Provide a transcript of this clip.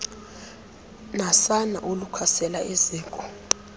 nasana olukhasela eziko